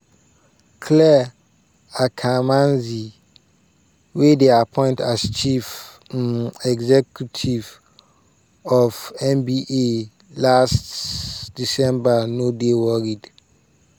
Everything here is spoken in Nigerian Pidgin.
clare akamanzi wey dem appoint as chief um executive of nba africa last december no dey worried.